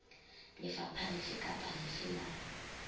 lefapha lefe kapa lefe la